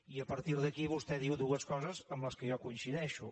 i a partir d’aquí vostè diu dues coses amb què jo coincideixo